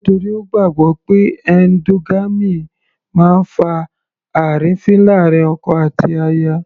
Nítorí Ó gbàgbọ́ pé endogamy máa ń fa àrífín láàrin ọkọ àti aya.